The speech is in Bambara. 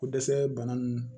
Ko dɛsɛ bana nun